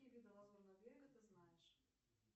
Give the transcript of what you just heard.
какие виды лазурного берега ты знаешь